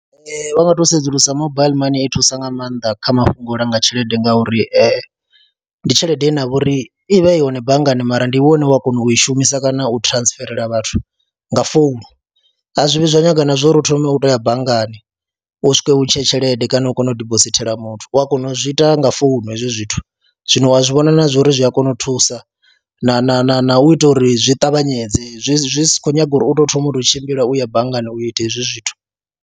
Vha nga tou sedzulusa mobile money i thusa nga maanḓa kha mafhungo a u langa tshelede ngauri ndi tshelede ine ya vha uri i vha i hone banngani mara ndi iwe une wa kona u i shumisa kana u transferela vhathu nga founu, a zwi vhi zwa nyaga na zwo uri u thome u tou ya banngani u swika u ntshe tshelede kana u kona u dibosithela muthu, u a kona u zwi ita nga founu hezwi zwithu. Zwino u a zwi vhona na zwa uri zwi a kona u thusa na na na na u ita uri zwi ṱavhanyedze, zwi zwi si khou nyaga uri u tou thoma u tou tshimbila u ya banngani u ita hezwi zwithu.